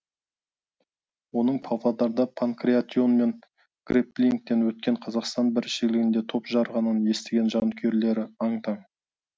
оның павлодарда панкратион мен грепплингтен өткен қазақстан біріншілігінде топ жарғанын естіген жанкүйерлері аң таң